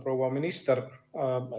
Proua minister!